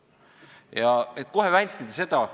Ja et kohe vältida seda ...